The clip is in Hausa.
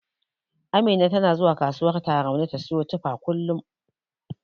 Amina tana zuwa kasuwar Tarauni ta siyo tufa kullum.